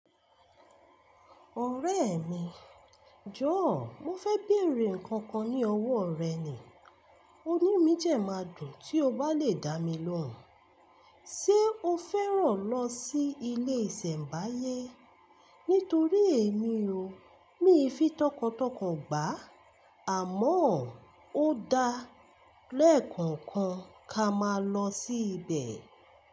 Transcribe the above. Ọ̀rẹ́ mi, jọ̀ọ́ mo fẹ́ bèrè nnkan kan ní ọwọ́ rẹ ni, oní mí jẹ máa dùn tí o bá lè dá mi lóhùn. Ṣé o fẹ́ràn lọ sí ilé ìsẹ̀mbáyé? Nítorí èmi o, mi fi tọkàntọkàn gbà á, àmọ́ ó da lẹ́ẹ̀kọ̀kan ká máa lọ sí ibẹ̀.